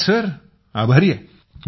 धन्यवाद सर आभारी आहे